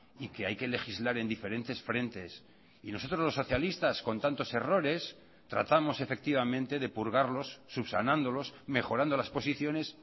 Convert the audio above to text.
y que hay que legislar en diferentes frentes y nosotros los socialistas con tantos errores tratamos efectivamente de purgarlos subsanándolos mejorando las posiciones